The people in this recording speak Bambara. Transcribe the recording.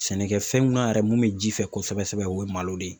Sɛnɛkɛfɛnw na yɛrɛ mun bɛ ji fɛ kosɛbɛ kosɛbɛ, o ye malo de ye.